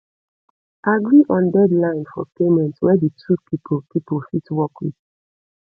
agree on deadline for payment wey di two pipo pipo fit work with